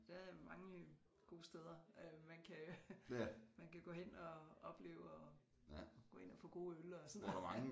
Der er mange gode steder øh man kan man kan gå hen og opleve og gå ind og få gode øl og sådan noget